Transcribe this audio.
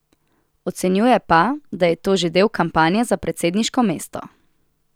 Ocenjuje pa, da je to že del kampanje za predsedniško mesto.